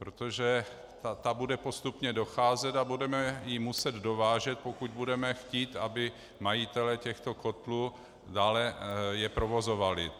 Protože ta bude postupně docházet a budeme ji muset dovážet, pokud budeme chtít, aby majitelé těchto kotlů je dále provozovali.